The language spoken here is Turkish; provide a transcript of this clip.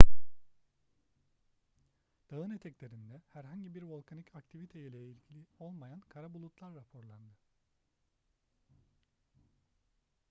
dağın eteklerinde herhangi bir volkanik aktivite ile ilgili olmayan kara bulutlar raporlandı